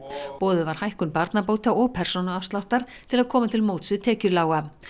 boðuð var hækkun barnabóta og persónuafsláttar til að koma til móts við tekjulága